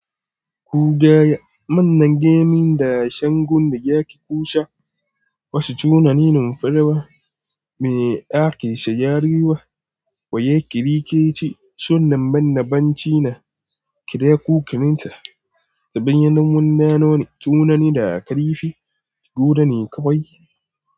Ku gaya manne gemin da shangwanda yake kusa, wasu tunanin farawa me ake shayarwa, wa yake rike ce son nan bannabanci na kira kukininta ta hanyar wannan nono tunani da aka rife guda ne kawai.